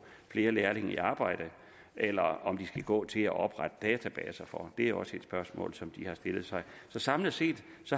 flere lærlinge i arbejde eller om de skal gå til at oprette databaser for det er også et spørgsmål som de har stillet sig så samlet set